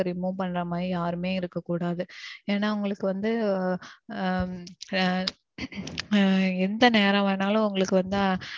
remove பண்ற மாறி யாருமே இருக்க கூடாது. ஏன்னா உங்களுக்கு வந்து உம் அஹ் ஆஹ் எந்த நேரம் வேணாலும் உங்களுக்கு வந்து